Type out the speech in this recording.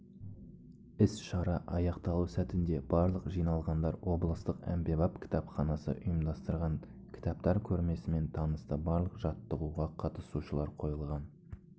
іс-шара аяқталу сәтінде барлық жиналғандар облыстық әмбебап кітапханасы ұйымдастырған кітаптар көрмесімен танысты барлық жаттығуға қатысушылар қойылған